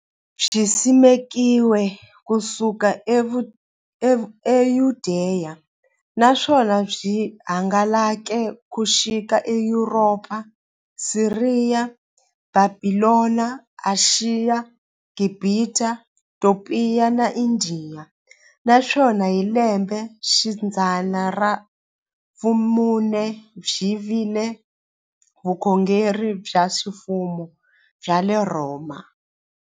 Byisimekiwe ku suka e Yudeya, naswona byi hangalake ku xika e Yuropa, Siriya, Bhabhilona, Ashiya, Gibhita, Topiya na Indiya, naswona hi lembexidzana ra vumune byi vile vukhongeri bya ximfumo bya le Rhoma.